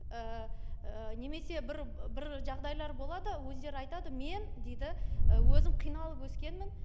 ііі немесе бір бір жағдайлар болады өздері айтады мен дейді і өзім қиналып өскенмін